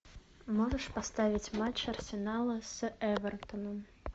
можешь поставить матч арсенала с эвертоном